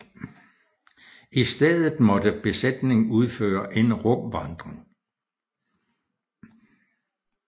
I stedet måtte besætningen udføre en rumvandring